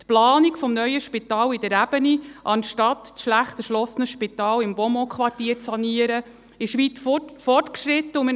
Die Planung des neuen Spitals in der Ebene, anstatt das schlecht erschlossene Spital im Beaumont-Quartier zu sanieren, ist weit fortgeschritten.